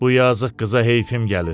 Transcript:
Bu yazıq qıza heyfim gəlir.